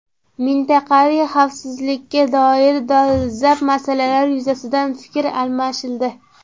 Mintaqaviy xavfsizlikka doir dolzarb masalalar yuzasidan fikr almashildi.